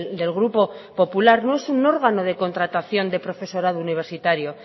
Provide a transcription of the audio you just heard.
del grupo popular no es un órgano de contratación de profesorado universitario